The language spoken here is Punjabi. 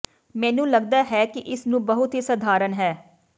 ਮੈਨੂੰ ਲੱਗਦਾ ਹੈ ਕਿ ਇਸ ਨੂੰ ਬਹੁਤ ਹੀ ਸਧਾਰਨ ਹੈ ਹੈ